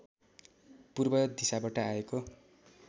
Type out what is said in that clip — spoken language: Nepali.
पूर्व दिशाबाट आएको